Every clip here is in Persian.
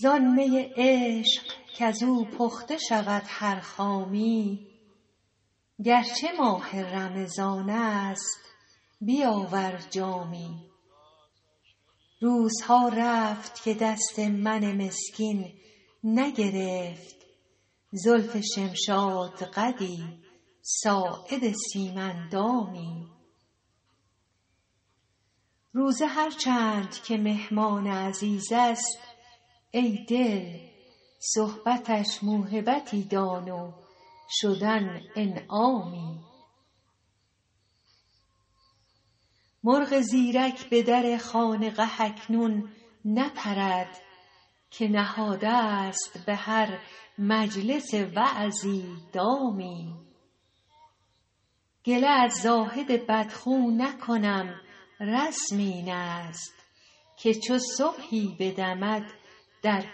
زان می عشق کز او پخته شود هر خامی گر چه ماه رمضان است بیاور جامی روزها رفت که دست من مسکین نگرفت زلف شمشادقدی ساعد سیم اندامی روزه هر چند که مهمان عزیز است ای دل صحبتش موهبتی دان و شدن انعامی مرغ زیرک به در خانقه اکنون نپرد که نهاده ست به هر مجلس وعظی دامی گله از زاهد بدخو نکنم رسم این است که چو صبحی بدمد در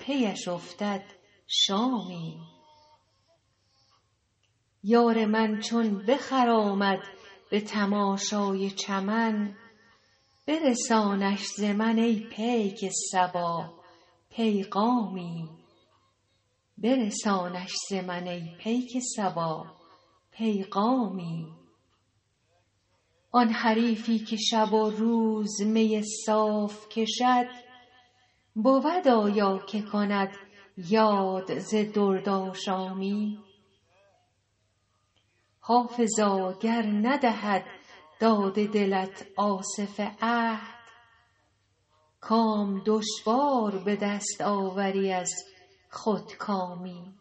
پی اش افتد شامی یار من چون بخرامد به تماشای چمن برسانش ز من ای پیک صبا پیغامی آن حریفی که شب و روز می صاف کشد بود آیا که کند یاد ز دردآشامی حافظا گر ندهد داد دلت آصف عهد کام دشوار به دست آوری از خودکامی